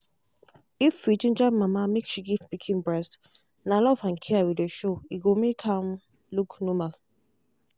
if we ginger mama make she give pikin breastna love and care we dey show e go make am look normal